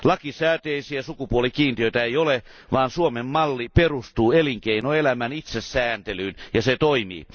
Lakisääteisiä sukupuolikiintiöitä ei ole, vaan Suomen malli perustuu elinkeinoelämän itsesääntelyyn ja se toimii.